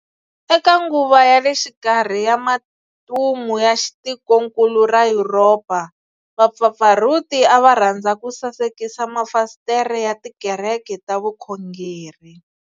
Eka nguva ya le xikarhi ya matumu ya tikonkulu ra Yuropa, vapfapfarhuti a va rhandza ku sasekisa mafasitere ya tikereke ta vukhongeri.